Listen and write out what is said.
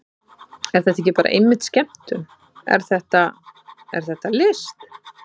Er þetta ekki bara einmitt skemmtun, er þetta, er þetta list?